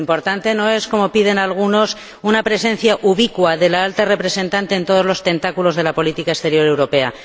Lo importante no es, como piden algunos, una presencia ubicua de la Alta Representante en todos los tentáculos de la política exterior europea.